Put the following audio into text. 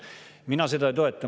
Mina seda ei toeta.